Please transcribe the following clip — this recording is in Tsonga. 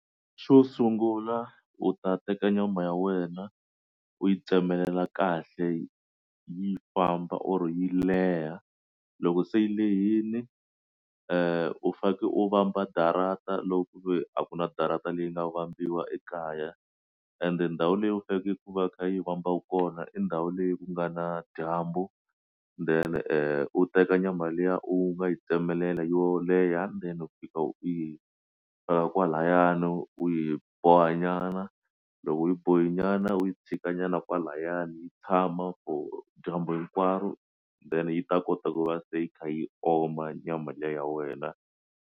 Xo sungula u ta teka nyama ya wena u yi tsemelela kahle yi famba or yi leha loko se yi lehini u fanekele u vamba darata loko ku ve a ku na darata leyi nga vambiwa ekaya ende ndhawu leyi u faneleke ku va yi kha yi fambaku kona i ndhawu leyi ku nga na dyambu then u teka nyama liya u nga yi tsemelela yo leha ndzeni u fika u yi veka kwalaya u yi boha nyana loko u yi bohe nyana u yi tshika nyana kwalayani yi tshama for dyambu hinkwaro then yi ta kota ku va se yi kha yi oma nyama liya ya wena.